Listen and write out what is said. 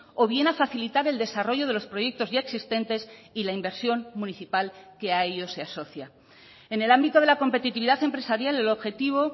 o bien a facilitar el desarrollo de los proyectos ya existentes y la inversión municipal que a ellos se asocia en el ámbito de la competitividad empresarial el objetivo